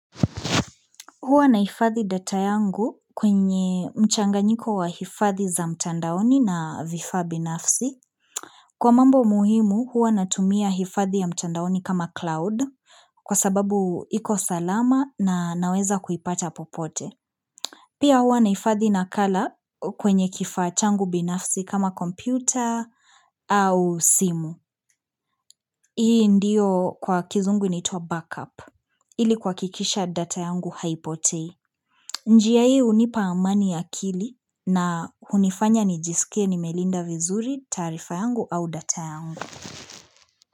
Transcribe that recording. Huwa naifadhi data yangu kwenye mchanga nyiko waifadhi za mtandaoni na vifa binafsi. Kwa mambo muhimu huwa natumia hifadhi ya mtandaoni kama cloud kwa sababu iko salama na naweza kuipata popote. Pia huwa naifadhi nakala kwenye kifaa changu binafsi kama kompyuta au simu. Hii ndio kwa kizungu inaitwa backup ili kuha kikisha data yangu haipotei. Njia hii unipa amani ya akili na hunifanya nijisike ni nimelinda vizuri taarifa yangu au data.